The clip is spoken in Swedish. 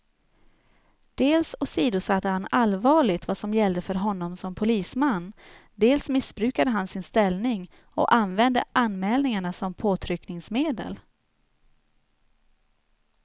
Dels åsidosatte han allvarligt vad som gällde för honom som polisman, dels missbrukade han sin ställning och använde anmälningarna som påtryckningsmedel.